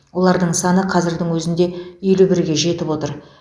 олардың саны қазірдің өзінде елу бірге жетіп отыр